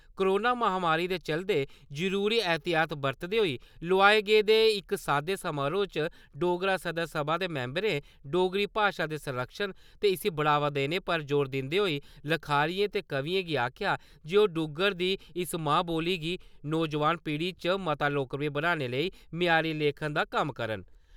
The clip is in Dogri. कोरोना महामारी दे चलदे जरूरी एहतियात बरतदे होई लोआए गेदे इक सादे समारोह च डोगरा सदर सभा दे मिम्बरें डोगरी भाशा दे संरक्खन ते इसी बढ़ावा देने पर जोर दिंदे होई लखारियें ते कवियें गी आक्खेआ जे ओह् डुग्गर दी इस मां बोली गी नौजोआन पीढ़ी च मता लोकप्रिय बनाने लेई मयारी लेखन दा कम्म करन।